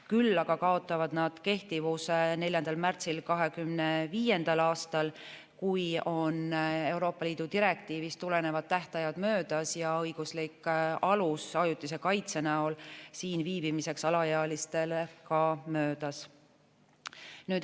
Küll aga kaotavad nad kehtivuse 4. märtsil 2025. aastal, kui on Euroopa Liidu direktiivist tulenevad tähtajad möödas ja õiguslik alus ajutise kaitse näol siin viibimiseks alaealistele ka möödas.